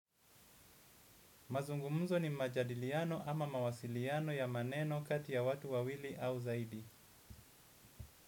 Mazungumuzo ni majadiliano ama mawasiliano ya maneno kati ya watu wawili au zaidi.